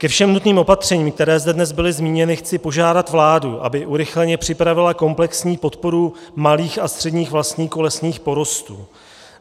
Ke všem nutným opatřením, která zde dnes byla zmíněna, chci požádat vládu, aby urychleně připravila komplexní podporu malých a středních vlastníků lesních porostů.